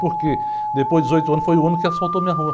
Porque depois de dezoito anos foi o ano que assaltou a minha rua.